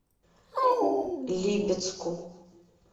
липецку